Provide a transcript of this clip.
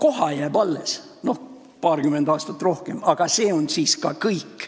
Noh, koha jääb alles – peab paarkümmend aastat kauem vastu –, aga see on siis ka kõik.